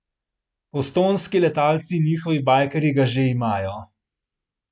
Postojnski letalci in njihovi bajkerji ga že imajo!